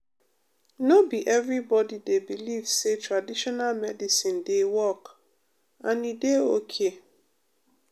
no be everybody dey believe say traditional medicine dey work and e dey okay.